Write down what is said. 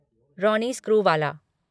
Ronnie Screwvala